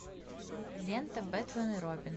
лента бэтмен и робин